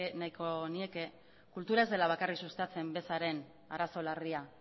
nahiko nieke kultura ez dela bakarrik sustatzen bezaren arazo larria